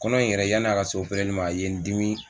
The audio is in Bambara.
Kɔnɔ in yɛrɛ yanni a ka se opereli ma a ye n dimi.